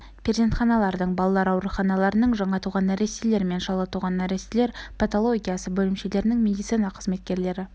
перзентханалардың балалар ауруханаларының жаңа туған нәрестелер мен шала туған нәрестелер патологиясы бөлімшелерінің медицина қызметкерлері